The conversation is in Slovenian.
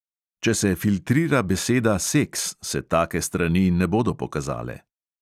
Če se filtrira beseda seks, se take strani ne bodo pokazale.